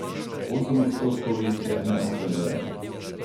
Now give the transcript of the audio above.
Osem odstotkov jih je neopredeljenih.